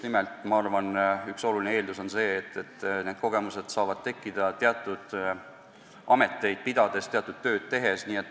Ma arvan, et üks oluline eeldus on see, et need kogemused saavad tekkida teatud ameteid pidades, teatud tööd tehes.